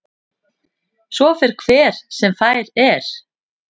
Svo fer hver sem fær er.